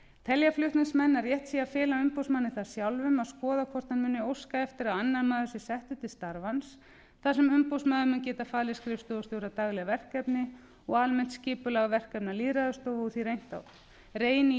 telja flutningsmenn að rétt sé að fela umboðsmanni það sjálfum að skoða hvort hann muni óska eftir að annar maður sé settur til starfans þar sem umboðsmaður mun geta falið skrifstofustjóra dagleg verkefni og almennt skipulag verkefna lýðræðisstofu og því reyni í